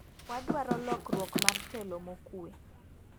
wadwaro lokruok mar telo mokue.